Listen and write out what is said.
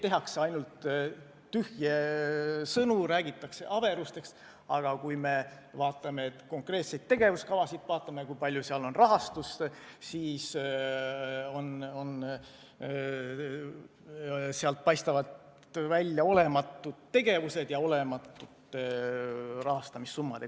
Tehakse ainult tühje sõnu, räägitakse averusest, aga kui vaatame konkreetseid tegevuskavasid, vaatame, kui suur on rahastust, siis sealt paistavad välja olematud tegevused ja olematud summad.